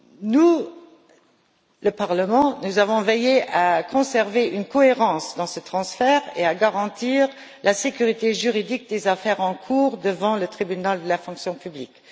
Au Parlement, nous avons veillé à conserver une cohérence dans ce transfert et à garantir la sécurité juridique des affaires en cours devant le Tribunal de la fonction publique.